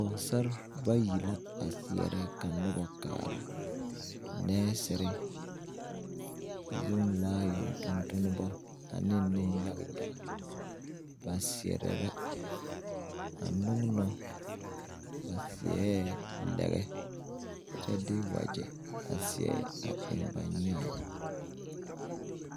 Pogesar bayi la a seɛre ka noba kaara. Neɛsere, zumilaayon tontonbo ane ne yage yage. Ba seɛre la a nuŋno. Ba seɛ lege kyɛ de wagye a seɛ a eŋ ba nyaab